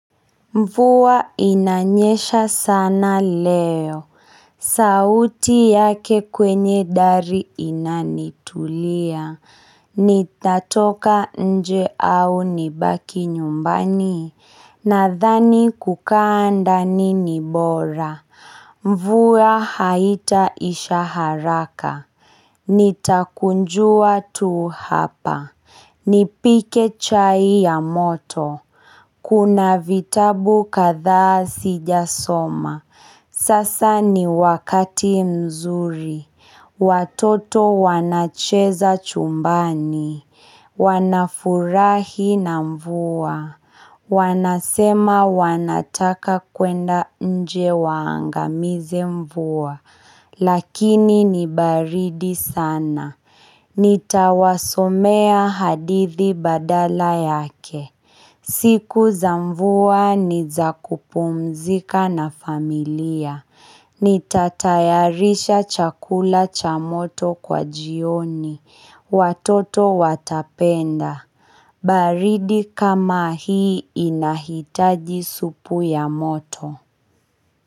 Mvuwa inanyesha sana leo sauti yake kwenye dari inanitulia nitatoka nje au nibaki nyumbani nadhani kukaa ndani ni bora mvuwa haita isha haraka nitakunjua tuu hapa Nipike chai ya moto kuna vitabu kadhaa sijasoma sasa ni wakati mzuri watoto wanacheza chumbani wanafurahi na mvua wanasema wanataka kwenda nje waangamize mvua lakini nibaridi sana nitawasomea hadithi badala yake siku za mvua niza kupumzika na familia nitatayarisha chakula cha moto kwa jioni Watoto watapenda. Baridi kama hii inahitaji supu ya moto.